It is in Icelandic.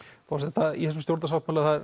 Þorsteinn í þessum stjórnarsáttmála er